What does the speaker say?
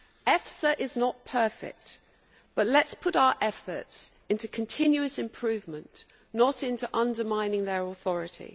EFSA is not perfect, but let us put our efforts into continuous improvement, not into undermining their authority.